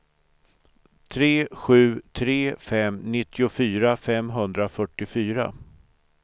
tre sju tre fem nittiofyra femhundrafyrtiofyra